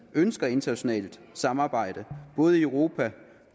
ønsker internationalt samarbejde både i europa